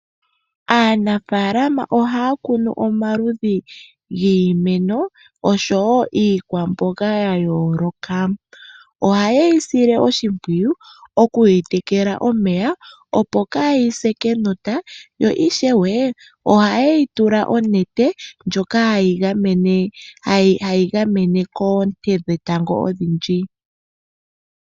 Aanafaalama oha ya kunu omaludhi giimeno osho wo iikwamboga ya yooloka. Oha ye yi sile oshimpwiyu oku yi tekela omeya opo ka yi se kenota. Yo ishewe, oha ye yi tula onete ndjoka hayi gamene koonte dhetango odhindji.